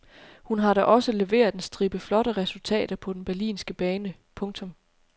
Hun har da også leveret en stribe flotte resultater på den berlinske bane. punktum